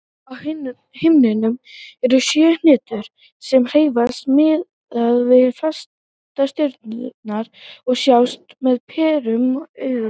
Á himninum eru sjö hnettir sem hreyfast miðað við fastastjörnurnar og sjást með berum augum.